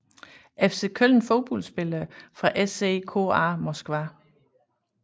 FC Köln Fodboldspillere fra CSKA Moskva